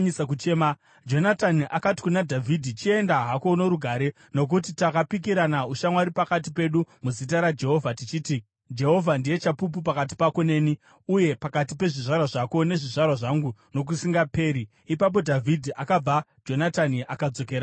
Jonatani akati kuna Dhavhidhi, “Chienda hako norugare, nokuti takapikirana ushamwari pakati pedu muzita raJehovha, tichiti, ‘Jehovha ndiye chapupu pakati pako neni, uye pakati pezvizvarwa zvako nezvizvarwa zvangu nokusingaperi.’ ” Ipapo Dhavhidhi akabva, Jonatani akadzokerawo muguta.